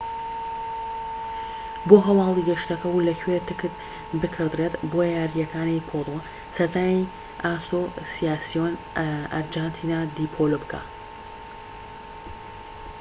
بۆ هەواڵی گەشتەکە و لەکوێ تکت بکڕدرێت بۆ یاریەکانی پۆلۆ سەردانی ئاسۆسیاسیۆن ئارجەنتینا دی پۆلۆ بکە